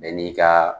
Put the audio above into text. Bɛɛ n'i ka